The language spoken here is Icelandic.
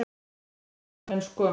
Þetta gera nú menn sko.